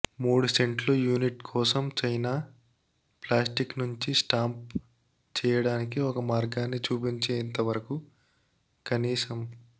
మూడు సెంట్లు యూనిట్ కోసం చైనా ప్లాస్టిక్ నుంచి స్టాంప్ చేయడానికి ఒక మార్గాన్ని చూపించేంతవరకు కనీసం